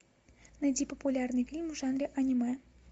найди популярный фильм в жанре аниме